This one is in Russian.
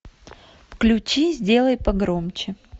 включи сделай погромче